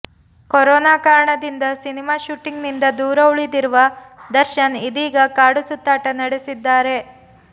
corona ಕಾರಣದಿಂದ cinema ಶೂಟಿಂಗ್ನಿಂದ ದೂರ ಉಳಿದಿರುವ ದರ್ಶನ್ ಇದೀಗ ಕಾಡು ಸುತ್ತಾಟ ನಡೆಸಿದ್ದಾರೆ